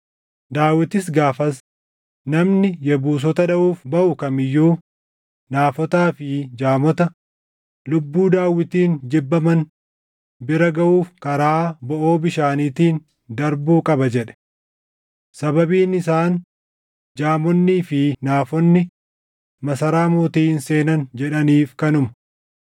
Daawitis gaafas, “Namni Yebuusota dhaʼuuf baʼu kam iyyuu, ‘naafotaa fi jaamota’ lubbuu Daawitiin jibbaman bira gaʼuuf karaa boʼoo bishaaniitiin darbuu qaba” jedhe. Sababiin isaan, “ ‘Jaamonnii fi naafonni’ masaraa mootii hin seenan” jedhaniif kanuma.